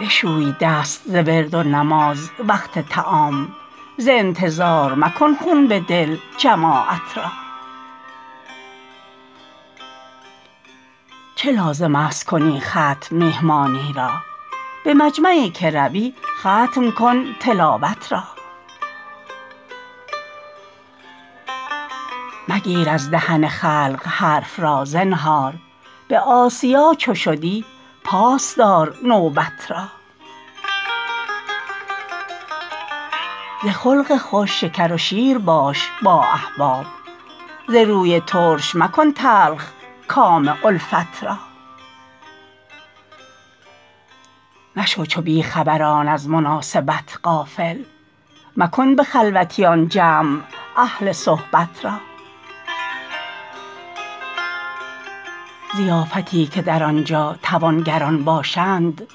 بشوی دست ز ورد و نماز وقت طعام ز انتظار مکن خون به دل جماعت را چه لازم است کنی ختم میهمانی را به مجمعی که روی ختم کن تلاوت را مگیر از دهن خلق حرف را زنهار به آسیا چو شدی پاس دار نوبت را ز خلق خوش شکر و شیر باش با احباب ز روی ترش مکن تلخ کام الفت را مشو چو بی خبران از مناسبت غافل مکن به خلوتیان جمع اهل صحبت را ضیافتی که در آنجا توانگران باشند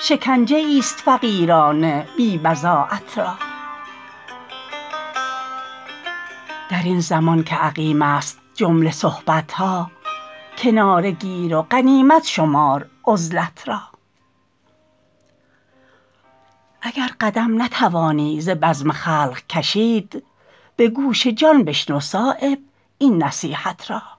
شکنجه ای است فقیران بی بضاعت را درین زمان که عقیم است جمله صحبت ها کناره گیر و غنیمت شمار عزلت را اگر قدم نتوانی ز بزم خلق کشید به گوش جان بشنو صایب این نصیحت را